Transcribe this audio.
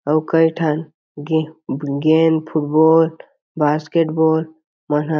ओ कई ठन गे गेम फुटबॉल बास्केट बॉल मन ह --